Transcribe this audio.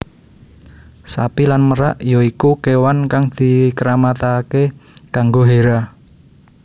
Sapi lan merak ya iku kewan kang dikeramatake kanggo Hera